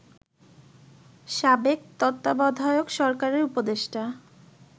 সাবেক তত্ত্বাবধায়ক সরকারের উপদেষ্টা